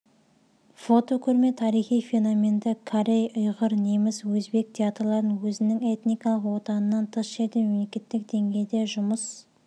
фотокөрме тарихи феноменді корей ұйғыр неміс өзбек театрларының өзінің этникалық отанынан тыс жерде мемлекеттік деңгейде жұмыс